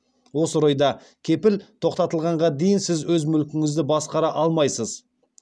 осы орайда кепіл тоқтатылғанға дейін сіз өз мүлкіңізді басқара алмайсыз